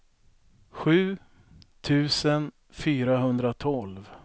sju tusen fyrahundratolv